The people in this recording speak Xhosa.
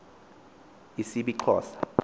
isibixhosa